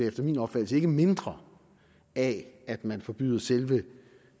efter min opfattelse ikke mindre af at man forbyder selve